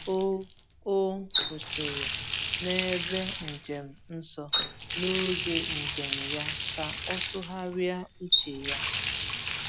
O O kwụsịrị n’ebe njem nsọ n’oge njem ya ka o tụgharịa uche ya.